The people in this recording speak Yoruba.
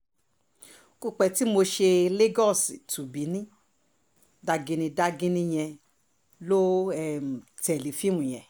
kò pẹ́ tí mo ṣe lagos tó benin daginni daginni yẹn lò um tẹ́lẹ̀ fíìmù yẹn